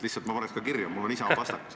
Lihtsalt ma paneks kirja, mul on Isamaa pastakas.